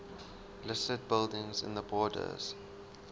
listed buildings in the borders